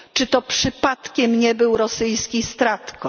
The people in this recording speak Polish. Czy to przypadkiem nie był rosyjski StratCom?